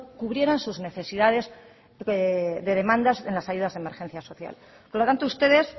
cubrieran sus necesidades de demandas en las ayudas de emergencia social por lo tanto ustedes